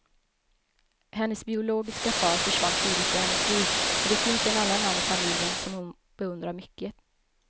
Hennes biologiska far försvann tidigt ur hennes liv, men det finns en annan man i familjen som hon beundrar mycket.